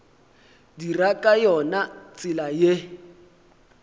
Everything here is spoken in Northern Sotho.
dira ka yona tsela ye